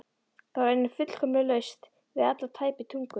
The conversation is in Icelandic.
Það var einnig fullkomlega laust við alla tæpitungu.